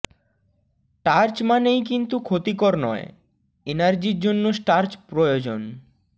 টার্চ মানেই কিন্তু ক্ষতিকর নয় এনার্জির জন্য স্টার্চ প্রয়োজন